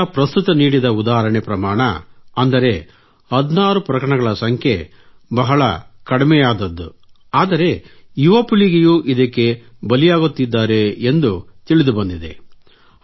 ಈಗ ಪ್ರಸ್ತುತ ನೀಡಿದ ಉದಾಹರಣೆ ಪ್ರಮಾಣ ಅಂದರೆ 16 ಪ್ರಕರಣಗಳ ಸಂಖ್ಯೆ ಬಹಳ ಕಡಿಮೆಯಾದದ್ದು ಆದರೆ ಯುವ ಪೀಳಿಗೆಯೂ ಇದಕ್ಕೆ ಬಲಿಯಾಗುತ್ತಿದ್ದಾರೆ ಎಂದು ತಿಳಿದುಬಂದಿದೆ